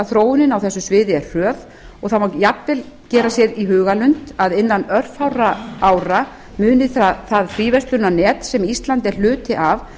þróunin á þessu sviði er hröð og það má jafnvel gera sér í hugarlund að innan örfárra ára muni það fríverslunarnet sem ísland er hluti af